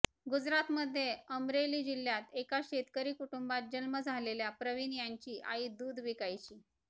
गुजरातमध्ये अमरेली जिल्ह्यात एका शेतकरी कुटुंबात जन्म झालेल्या प्रवीण यांची आई दूध विकायची